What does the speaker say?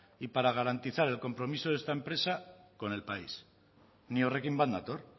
y para garantizar el compromiso de esta empresa con el país ni horrekin bat nator